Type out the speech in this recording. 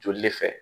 Joli le fɛ